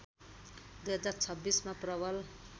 २०२६ मा प्रवल